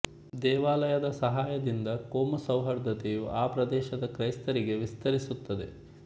ದೇವಾಲಯದ ಸಹಾಯದಿಂದ ಕೋಮು ಸೌಹಾರ್ದತೆಯು ಆ ಪ್ರದೇಶದ ಕ್ರೈಸ್ತರಿಗೆ ವಿಸ್ತರಿಸುತ್ತದೆ